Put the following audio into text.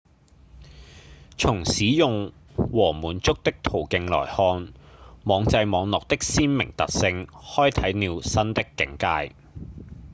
從使用和滿足的途徑來看網際網路的鮮明特性開啟了新的境界